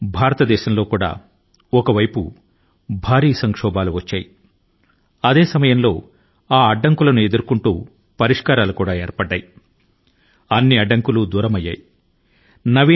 భారతదేశం కూడా ఒక వైపు భారీ ప్రతికూలతల ను ఎదుర్కొంటూనే ఉంది మరో వైపు అనేక రకాల పరిష్కారాలు అభివృద్ధి చెందుతూనే ఉన్నాయి అడ్డంకుల ను అధిగమిస్తూనే ఉంది